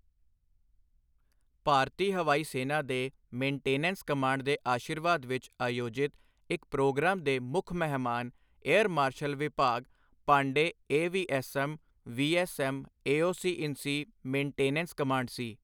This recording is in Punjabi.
ਭਾਰਤੀ ਹਵਾਈ ਸੈਨਾ ਦੇ ਮੇਨਟੇਨੈਂਸ ਕਮਾਂਡ ਦੇ ਅਸ਼ੀਰਵਾਦ ਵਿੱਚ ਆਯੋਜਿਤ ਇਸ ਪ੍ਰੋਗਰਾਮ ਦੇ ਮੁੱਖ ਮਹਿਮਾਨ air marshal Vibhas Pandey AVSM VSM, AOC in C maintenance command C.